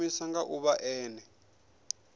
i shumiwa nga ḓuvha ḽene